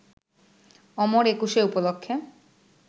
অমর একুশে উপলক্ষে